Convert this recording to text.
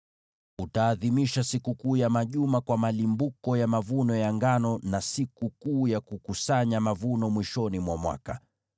“Utaadhimisha Sikukuu ya Majuma kwa malimbuko ya mavuno ya ngano, na Sikukuu ya Mavuno mwishoni mwa mwaka.